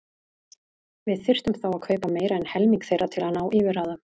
Við þyrftum þá að kaupa meira en helming þeirra til að ná yfirráðum.